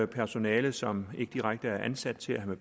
personale som ikke direkte er ansat til at